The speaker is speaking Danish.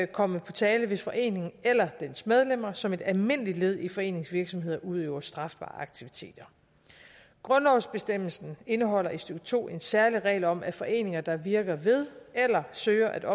komme på tale hvis foreningen eller dens medlemmer som et almindeligt led i foreningens virksomhed udøver strafbare aktiviteter grundlovsbestemmelsen indeholder i stykke to en særlig regel om at foreninger der virker ved eller søger at